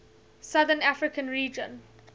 southern african region